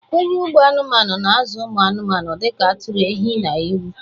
Onye ugbo anụmanụ na-azụ ụmụ anụmanụ dị ka atụrụ, ehi na ewu.